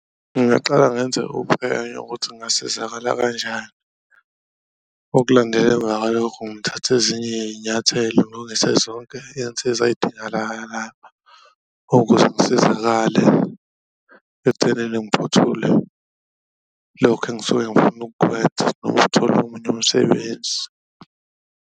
Ngingaqala ngenze uphenyo ukuthi ngasizakala kanjani okulandela emva kwaloko ngithathe ezinye iy'nyathelo ngilungise zonke iy'nsiza lapha ukuze ngisizakale, ekuthenini ngiphuthule lokhu engisuke engifuna ukukwenza noma ukuthola omunye umsebenzi.